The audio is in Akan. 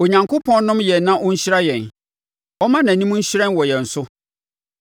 Onyankopɔn nnom yɛn na ɔnhyira yɛn ɔmma nʼanim nhyerɛn wɔ yɛn so,